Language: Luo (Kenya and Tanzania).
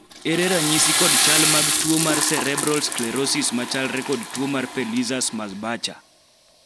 ere ranyisi kod chal mag tuo mar Cerebral sclerosis ma chalre kod tuo mar Pelizaeus Merzbacher